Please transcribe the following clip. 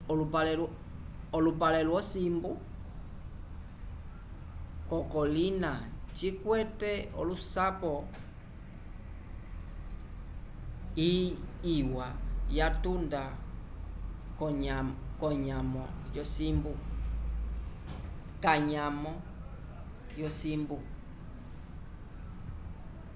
olupale lyo simbu ko kolina cikwete olusapo iwa ya tunda kanyamo yo simbu